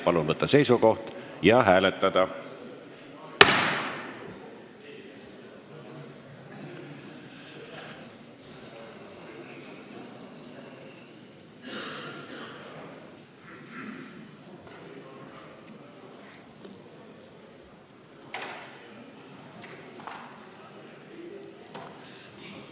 Palun võtta seisukoht ja hääletada!